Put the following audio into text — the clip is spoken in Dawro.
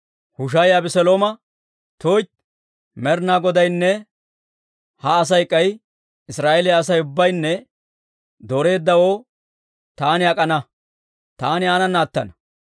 Hushaayi Abeselooma, «tuytti! Med'inaa Godaynne ha Asay k'ay Israa'eeliyaa Asay ubbaynne dooreeddawoo taani ak'ana; taani aanana attana.